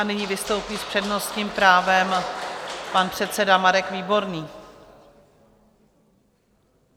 A nyní vystoupí s přednostním právem pan předseda Marek Výborný.